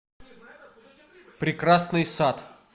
прекрасный сад